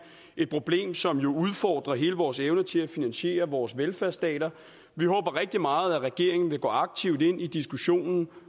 et problem som jo udfordrer hele vores evne til at finansiere vores velfærdsstater vi håber rigtig meget at regeringen vil gå aktivt ind i diskussionen